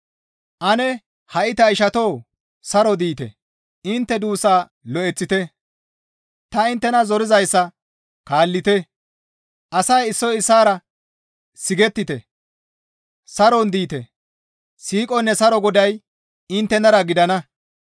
Ane ha7i ta ishatoo! Saro diite; intte duussa lo7eththite; ta inttena zoroyssa kaallite; asay issoy issaara sigettite; saron diite; siiqonne saro Goday inttenara gidana.